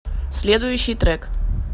следующий трек